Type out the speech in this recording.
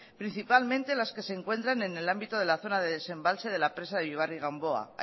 principalmente las que se encuentran en el ámbito de la zona de desembalse de la presa de ullíbarri gamboa